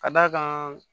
Ka d'a kan